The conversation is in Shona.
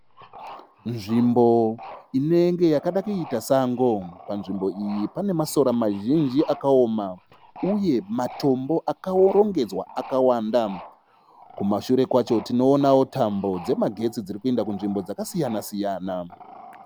Nzvimbo inenge yakada kuita sango. Panzvimbo iyi pane masoro mazhinji akaoma uye matombo akarongedzwa akawanda. Kumashure kwacho tinoonawo tambo dzemagetsi dzirikuyenda kunzvimbo dzakasiyana -siyana.